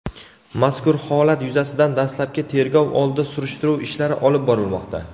Mazkur holat yuzasidan dastlabki tergov oldi surishtiruv ishlari olib borilmoqda.